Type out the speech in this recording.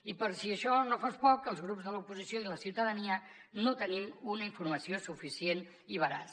i per si això no fos poc els grups de l’oposició i la ciutadania no tenim una informació suficient i veraç